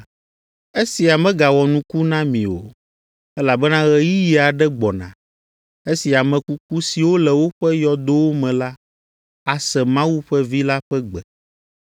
“Esia megawɔ nuku na mi o, elabena ɣeyiɣi aɖe gbɔna, esi ame kuku siwo le woƒe yɔdowo me la ase Mawu ƒe Vi la ƒe gbe,